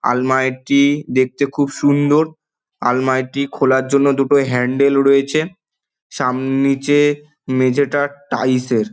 আলমারিটি-ই- দেখতে খুব সুন্দর । আলমারিটি খোলার জন্য দুটো হ্যান্ডেল রয়েছে। সাম নিচে-এ- মেঝেটা টাইলস -এর।